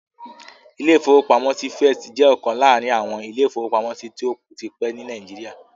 Ilé-ìfowópamọ́sí First jẹ́ ọ̀kan láàrin àwọn ilé-ìfowópamọ́sí tó ti pẹ́ ní Nàìjíríà